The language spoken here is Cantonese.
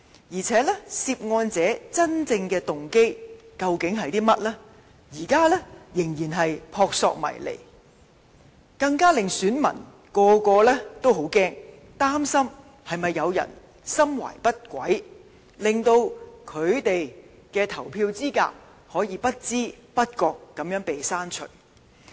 而且，涉案者的真正動機，現時仍然撲朔迷離，更令選民感到害怕，擔心會否有人心懷不軌，令他們的投票資格會被不知不覺地刪除。